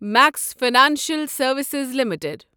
Max financial services limited